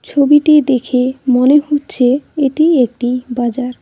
ছবিটি দেখে মনে হচ্ছে এটি একটি বাজার।